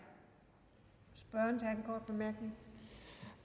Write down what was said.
op